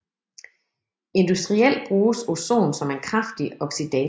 Industrielt bruges ozon som en kraftig oxidator